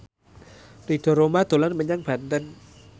Ridho Roma dolan menyang Banten